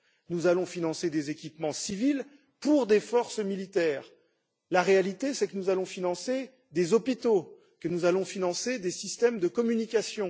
Nous allons financer des équipements civils pour des forces militaires. La réalité, c'est que nous allons financer des hôpitaux et que nous allons financer des systèmes de communication.